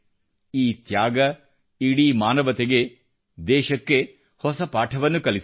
ಈ ತ್ಯಾಗ ಇಡೀ ಮಾನವತೆಗೆ ದೇಶಕ್ಕೆ ಹೊಸ ಪಾಠವನ್ನು ಕಲಿಸಿದೆ